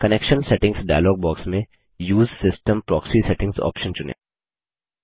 connection settings dialog box में उसे system proxy settings option चुनें